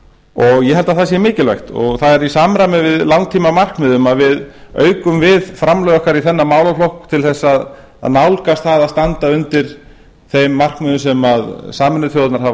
fjárhæðum ég held að það sé mikilvægt og það er í samræmi við langtímamarkmið að við aukum við framlög okkar í þennan málaflokk til þess að nálgast það að standa undir þeim markmiðum sem sameinuðu þjóðirnar hafa